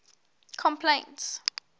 complaints